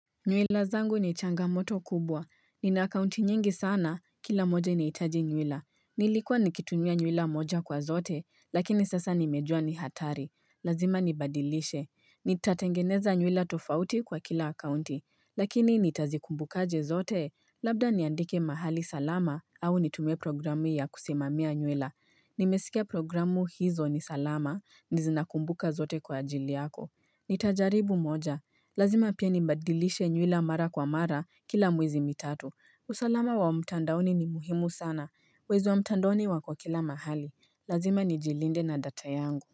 Nywira zangu ni changamoto kubwa. Nina akaunti nyingi sana, kila moja inahitaji nywira. Nilikuwa nikitumia nywila moja kwa zote, lakini sasa nimejua ni hatari. Lazima nibadilishe. Nitatengeneza nywila tofauti kwa kila akaunti. Lakini nitazikumbuka aje zote, labda niandike mahali salama au nitumie programu ya kusimamia nywila. Nimesikea programu hizo ni salama, nazinakumbuka zote kwa ajili yako. Nitajaribu moja. Lazima pia ni badilishe nywila mara kwa mara kila miezi mitatu usalama wa mtandaoni ni muhimu sana Wezi wa mtandaoni wako kila mahali Lazima ni jilinde na data yangu.